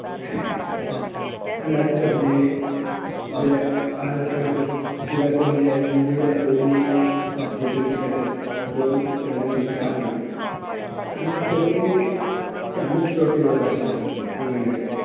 രണ്ടായിരത്തി പതിനേഴ് ഏർ ആയപ്പോഴേയ്ക്കും വിരാട് കോഹ്ലി ആയി ഇന്ത്യയുടെ ODIttwenty captain. ധോണി രണ്ടിൽ നിന്നും സ്ഥാനമൊഴിഞ്ഞു. രണ്ടായിരത്തി പതിനേഴ് champions trophy ഉള്ള വർഷം ആയിരുന്നു ഇംഗ്ലണ്ടിൽ.